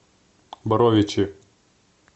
боровичи